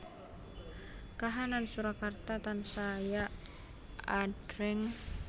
Kahanan Surakarta tansaya adreng